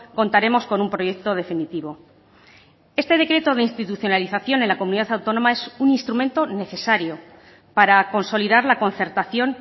contaremos con un proyecto definitivo este decreto de institucionalización en la comunidad autónoma es un instrumento necesario para consolidar la concertación